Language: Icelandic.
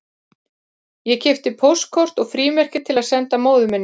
Ég keypti póstkort og frímerki til að senda móður minni